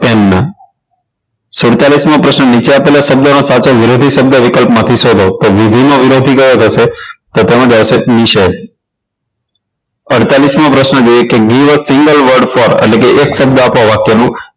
સુડતાલીસ મો પ્રશ્ન નીચે આપેલા શબ્દોમાંથી સાચો વિરોધી શબ્દ વિકલ્પમાંથી શોધો વિધિ નો વિરોધી કયો થશે તો તેમાં આવશે નિષોધ અડતાલીસ મો પ્રશ્ન single world for એક શબ્દ આપો વાક્યનો